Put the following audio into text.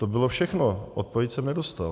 To bylo všechno, odpověď jsem nedostal.